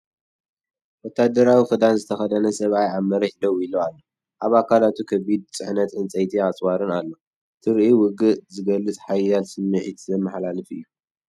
ወተሃደራዊ ክዳን ዝተኸድነ ሰብኣይ ኣብ መሬት ደው ኢሉ ኣሎ። ኣብ ኣካላቱ ከቢድ ጽዕነት ዕንጨይትን ኣጽዋርን ኣለዎ። ትርኢት ውግእ ዝገልጽን ሓያል ስምዒት ዘመሓላልፍን እዩ።